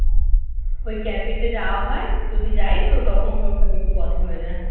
ওই cafe তে যাওয়া হয় যদি যাই তো তখন ওকে ওর সাথে একটু কথা হয়ে যায়